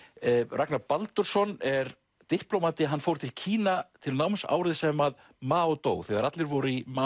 Ragnar Baldursson er diplómati hann fór til Kína til náms árið sem að Mao dó þegar allir voru í